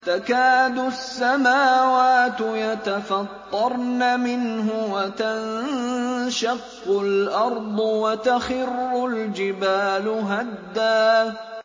تَكَادُ السَّمَاوَاتُ يَتَفَطَّرْنَ مِنْهُ وَتَنشَقُّ الْأَرْضُ وَتَخِرُّ الْجِبَالُ هَدًّا